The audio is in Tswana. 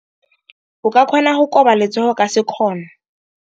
O ka kgona go koba letsogo ka sekgono.